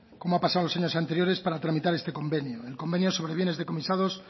como ha pasado los años anteriores para tramitar este convenio el convenio sobre bienes decomisados